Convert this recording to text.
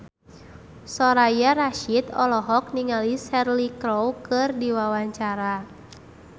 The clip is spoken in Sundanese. Soraya Rasyid olohok ningali Cheryl Crow keur diwawancara